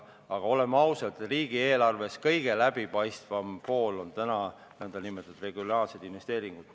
Aga oleme ausad, riigieelarve kõige läbipaistvam osa on täna nn regionaalsed investeeringud.